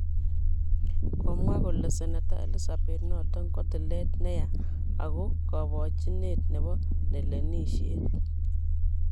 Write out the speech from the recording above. Komwaa kole seneta Elizabeth noton kotileet neyaa ago kobojinet nebo nelenisiet.